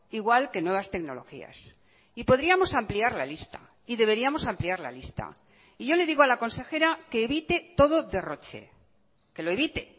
igual que nuevas tecnologías y podríamos ampliar la lista y deberíamos ampliar la lista y yo le digo a la consejera que evite todo derroche que lo evite